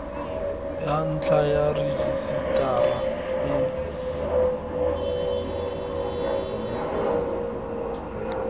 ya ntlha ya rejisetara e